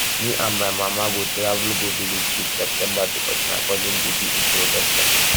me and my mama go travel go village dis septemeber because my cousin dey do introduction